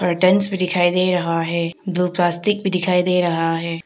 भी दिखाई दे रहा है दो प्लास्टिक भी दिखाई दे रहा है।